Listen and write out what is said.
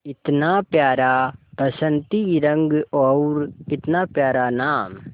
इतना प्यारा बसंती रंग और इतना प्यारा नाम